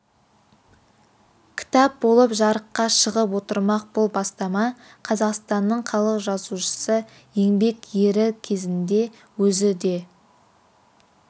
кітап болып жарыққа шығып отырмақ бұл бастама қазақстанның халық жазушысы еңбек ері кезінде өзі де